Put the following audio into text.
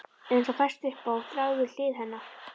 Eins og fest upp á þráð við hlið hennar.